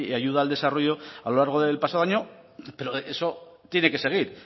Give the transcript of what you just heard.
ayuda al desarrollo a lo largo del pasado año pero eso tiene que seguir